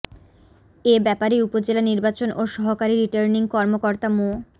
এ ব্যাপারে উপজেলা নির্বাচন ও সহকারী রিটার্নিং কর্মকর্তা মো